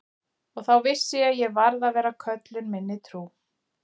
Og þá vissi ég að ég varð að vera köllun minni trú.